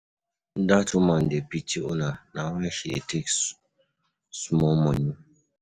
Dat woman dey pity una na why she dey take small money.